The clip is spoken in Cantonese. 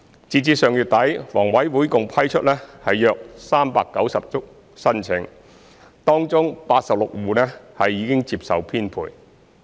截至上月底，房委會共批出約390宗申請，當中86戶已接受編配。